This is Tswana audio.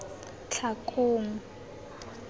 tlhakong